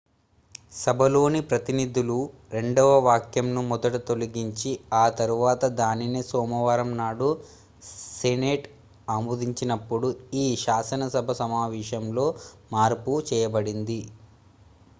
సభలోని ప్రతినిధుల రెండవ వాక్యంను మొదట తొలగించి ఆ తర్వాత దానినే సోమవారం నాడు సెనేట్ ఆమోదించిన్నప్పుడు ఈ శాసనసభ సమావేశంలో మార్పు చేయబడింది